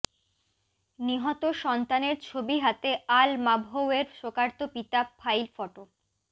নিহত সন্তানের ছবি হাতে আল মাবহোউয়ের শোকার্ত পিতা ফাইল ফটো